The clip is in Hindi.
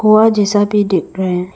कुआं जैसा भी दिख रहे हैं।